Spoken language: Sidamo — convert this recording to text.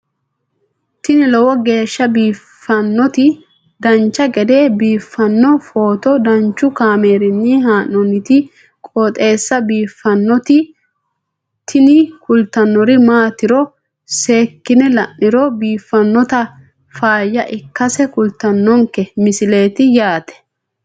tini lowo geeshsha biiffannoti dancha gede biiffanno footo danchu kaameerinni haa'noonniti qooxeessa biiffannoti tini kultannori maatiro seekkine la'niro biiffannota faayya ikkase kultannoke misileeti yaate